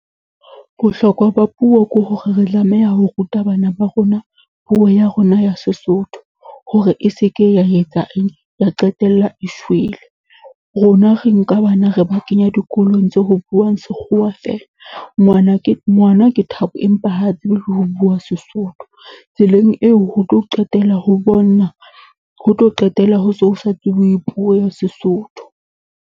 Bohlokwa ba puo ke hore re tlameha ho ruta bana ba rona puo ya rona ya Sesotho, hore e seke ya etsa eng, ya qetella e shwele. Rona re nka bana re ba kenya dikolong buuwang sekgowa feela. Ngwana ke, ngwana ke Thabo empa ha tsebe le ho bua Sesotho. Tseleng eo ho tlo qetella ho , ho tlo qetella ho so ho sa tsebuwe puo ya Sesotho.